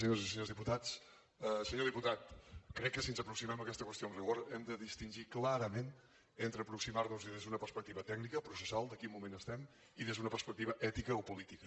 senyores i senyors diputats senyor diputat crec que si ens aproximem a aquesta qüestió amb rigor hem de distingir clarament entre aproximar nos hi des d’una perspectiva tècnica processal de quin moment estem i des d’una perspectiva ètica o política